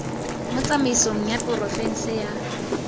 mo tsamaisong ya porofense ya